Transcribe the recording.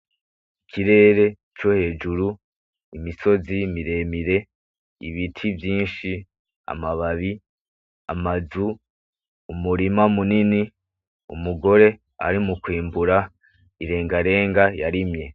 Ikirere co hejuru, Imisozi miremire, Ibiti vyinshi, Amababi, Amazu, Umurima munini, Umugore ari mu kwimbura irengarenga yarimye.